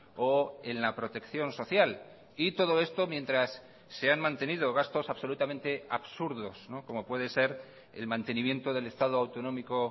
o en la protección social y todo esto mientras se han mantenido gastos absolutamente absurdos como puede ser el mantenimiento del estado autonómico